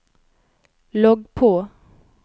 logg på